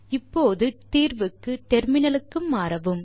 இப்போது தீர்வுக்கு டெர்மினலுக்கு மாறவும்